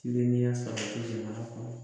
Tilenlenya sabatili jamana kɔɔnɔ.